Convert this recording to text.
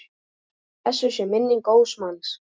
Blessuð sé minning góðs manns.